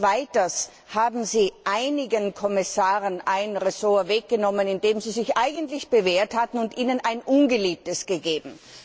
Und weiters haben Sie einigen Kommissaren ein Ressort weggenommen, in dem sie sich eigentlich bewährt hatten, und ihnen ein ungeliebtes gegeben.